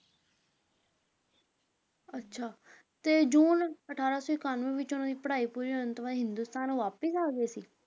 ਅੱਛਾ, ਤੇ ਜੂਨ ਅਠਾਰਾਂ ਸੌ ਇਕਾਨਵੇਂ ਵਿੱਚ ਉਹਨਾਂ ਦੀ ਪੜ੍ਹਾਈ ਪੂਰੀ ਕਰਨ ਤੋਂ ਬਾਅਦ ਉਹ ਹਿੰਦੁਸਤਾਨ ਵਾਪਸ ਆਗੇ ਸੀ?